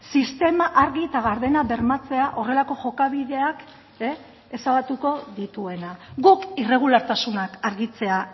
sistema argi eta gardena bermatzea horrelako jokabideak ezabatuko dituena guk irregulartasunak argitzea